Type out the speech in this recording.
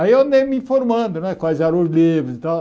Aí eu andei me informando né quais eram os livros e tal.